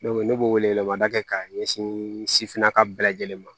ne b'o wele wele mada kɛ ka ɲɛsin sifinnaka bɛɛ lajɛlen ma